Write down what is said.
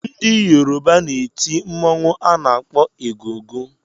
Ndị Yoruba na-eti mọnwụ a na-akpọ egungun